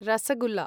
rosogolla